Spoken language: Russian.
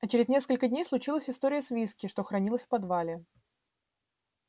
а через несколько дней случилась история с виски что хранилось в подвале